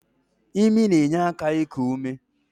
Imi na-enye aka iku ume.